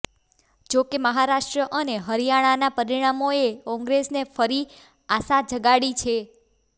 જોકે મહારાષ્ટ્ર અને હરિયાણાનાં પરિણામોએ કોંગ્રેસને ફરી આશા જગાડી છે